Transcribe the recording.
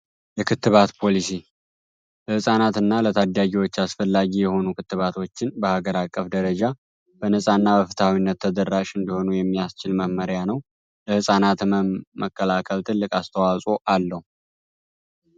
የክትባት ፖሊሲ ለህፃናት እና ለታዳጊዎች አስፈላጊ የሆኑ ክትባቶችን በሀገር አቀፍ ደረጃ በነፃ እና ፍትሀዊ በሆነ መልኩ ለማዳረስ የሚያስችል መመሪያ ነው። ለህፃናት ህመም መከላከል ትልቅ አስተዋጽኦ አለው።